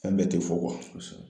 Fɛn bɛɛ tɛ fɔ kosɛbɛ